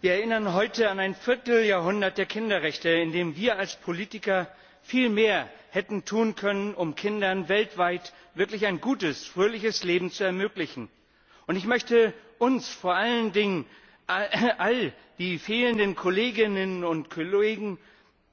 Wir erinnern heute an ein Vierteljahrhundert der Kinderrechte, in dem wir als Politiker viel mehr hätten tun können, um Kindern weltweit wirklich ein gutes, fröhliches Leben zu ermöglichen. Ich möchte uns, vor allen Dingen all die fehlenden Kolleginnen und Kollegen,